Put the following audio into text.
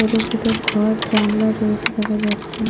ছোট ছোট ঘর জানলা রয়েছে দেখা যাচ্ছে।